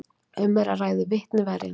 Um er að ræða vitni verjenda